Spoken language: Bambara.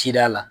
Cida la